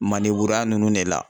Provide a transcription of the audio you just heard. Manen vuruya nunnu de la.